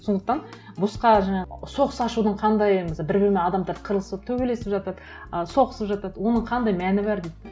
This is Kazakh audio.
сондықтан босқа жаңағы соғыс ашудың қандай бір бірімен адамдар қырылысып төбелесіп жатады ә соғысып жатады оның қандай мәні бар дейді де